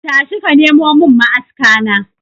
Tashi ka nemo mun ma'aska na.